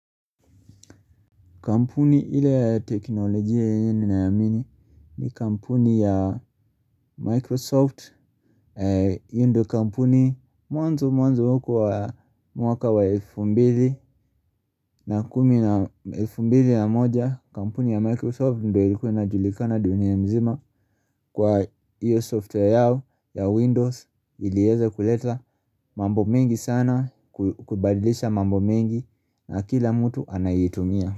Kampuni ile ya teknolojia yenye nameamini ni kampuni ya Microsoft. Hiyo ndio kampuni mwanzo mwanzo huko wa mwaka wa elfu mbili na kumi na elfu mbili na moja. Kampuni ya Microsoft ndio ilikuwa inajulikana dunia mzima kwa hiyo software yao ya Windows. Ilieza kuleta mambo mengi sana, kubadilisha mambo mengi na kila mtu anayeitumia.